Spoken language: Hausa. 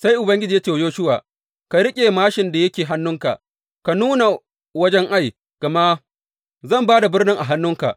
Sai Ubangiji ya ce wa Yoshuwa, Ka riƙe māshin da yake hannunka ka nuna wajen Ai, gama zan ba da birnin a hannunka.